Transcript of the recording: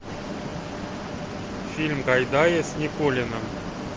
фильм гайдая с никулиным